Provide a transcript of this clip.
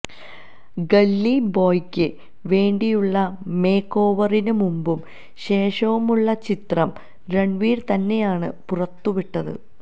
gully ബോയിയ്ക്ക് വേണ്ടിയുള്ള മേക്ക് ഓവറിന് മുമ്പും ശേഷവുമുള്ള ചിത്രം റണ്വീര് തന്നെയാണ് പുറത്തുവിട്ടത്